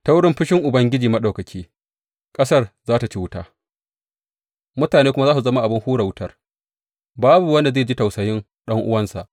Ta wurin fushin Ubangiji Maɗaukaki ƙasar za tă ci wuta mutane kuma za su zama abin hura wutar, babu wanda zai ji tausayin ɗan’uwansa.